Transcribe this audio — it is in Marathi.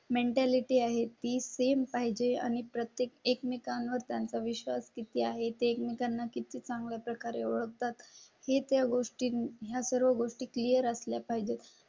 मेन्टॅलिटी आहे ती सेम पाहिजे आणि प्रत्येक एकमेकांवर त्यांचा विश्वास किती आहे ते एकमेकांना किती चांगल्या प्रकारे ओळखतात ही त्या गोष्टी या सर्व गोष्टी क्लिअर असल्या पाहिजेत.